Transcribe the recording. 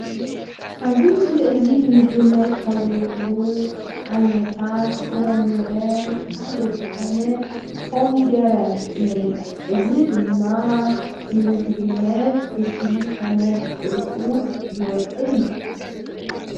ኣብዚ ምስሊ እዚ ንምግብነት ካብ ዝውዕሉ ዓይነታት ፍረምረ ሓደ ዝኮነ ኮሚደረ ንሪኢ። እዚ ድማ ንምግብነት በሲሉ ኮነ ብጥሪኡ ዝውዕእ እዩ::